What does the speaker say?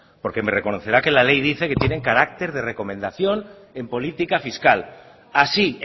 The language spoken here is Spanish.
porque me reconocerá que ley dice que tienen carácter de recomendación en política fiscal así